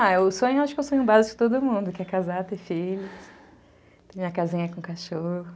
Ah, o sonho, acho que é um sonho básico de todo mundo, que é casar, ter filhos, ter minha casinha com cachorro.